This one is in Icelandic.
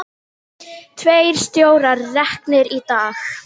Tveir stjórar reknir í dag